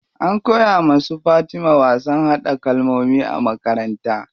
An koya wa su Fatima wasan haɗa kalkomi a makaranta.